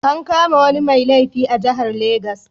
An kama wani mai laifi a jihar legas.